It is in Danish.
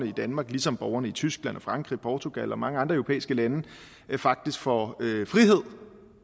i danmark ligesom borgerne i tyskland frankrig portugal og mange andre europæiske lande faktisk får frihed